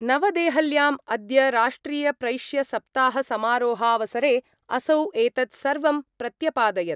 नवदेहल्याम् अद्य राष्ट्रियप्रैष्यसप्ताहसमारोहावसरे असौ एतत् सर्वं प्रत्यपादयत्।